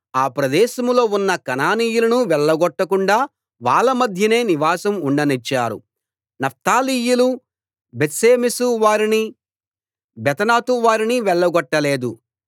ఆ ప్రదేశంలో ఉన్న కనానీయులను వెళ్లగొట్టకుండా వాళ్ళ మధ్యనే నివాసం ఉండనిచ్చారు నఫ్తాలీయులు బేత్షెమెషు వారిని బేతనాతు వారిని వెళ్లగొట్ట లేదు